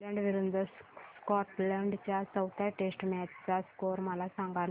Ireland विरूद्ध Scotland च्या चौथ्या टेस्ट मॅच चा स्कोर मला सांगना